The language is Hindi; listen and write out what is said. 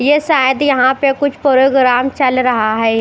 ये सायद यहा पे कुछ पोरोग्राम चल रहा है।